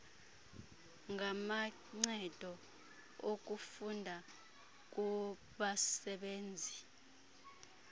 ngamancedo okufunda kubasebenzi